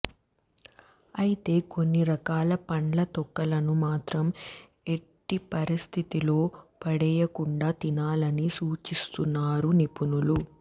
అయితే కొన్ని రకాల పండ్ల తొక్కలను మాత్రం ఎట్టిపరిస్థితుల్లో పడేయకుండా తినాలని సూచిస్తున్నారు నిపుణులు